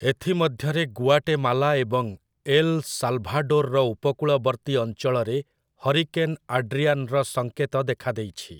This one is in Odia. ଏଥିମଧ୍ୟରେ ଗୁଆଟେମାଲା ଏବଂ ଏଲ୍ ସାଲ୍‌ଭାଡୋର୍‌ର ଉପକୂଳବର୍ତ୍ତୀ ଅଞ୍ଚଳରେ ହରିକେନ୍ ଆଡ୍ରିଆନ୍‌ର ସଙ୍କେତ ଦେଖା ଦେଇଛି ।